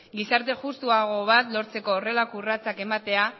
gizarte justuago bat lortzeko horrelako urratsak ematea